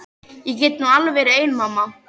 Ég get nú alveg verið ein mamma.